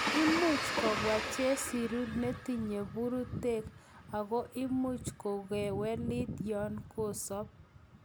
Imuch kobwa chesiru netinye bururtek ako imuch kokewelit yon kosob.